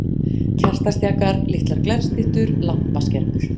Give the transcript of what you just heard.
Kertastjakar, litlar glerstyttur, lampaskermur.